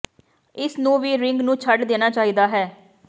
ਇਸ ਨੂੰ ਵੀ ਰਿੰਗ ਨੂੰ ਛੱਡ ਦੇਣਾ ਚਾਹੀਦਾ ਹੈ